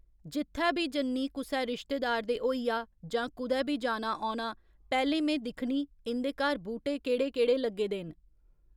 जित्थै बी जन्नी कुसै रिश्तेदार दे होइया जां कुदै बी जाना औना पैह्‌लें में दिक्खनी इंदे घर बूह्टे केह्ड़े केह्ड़े लग्गे दे न